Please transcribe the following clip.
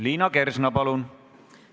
Liina Kersna, palun!